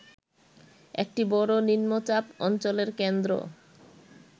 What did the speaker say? একটি বড় নিম্নচাপ অঞ্চলের কেন্দ্র